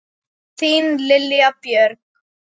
Þín Lilja Björg.